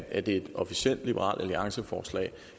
er det et officielt liberal alliance forslag